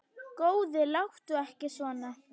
Góði, láttu ekki svona.